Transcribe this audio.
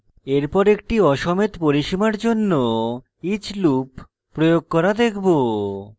এরপর একটি aসমেত পরিসীমার জন্য each loop প্রয়োগ করা দেখব